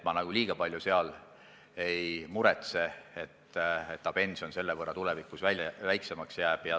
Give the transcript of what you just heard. Ma liiga palju ei muretse, et tema pension selle võrra tulevikus väiksemaks jääb.